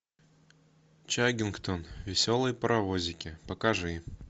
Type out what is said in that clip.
чаггингтон веселые паровозики покажи